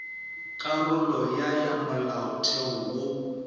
karolo ya ya molaotheo wo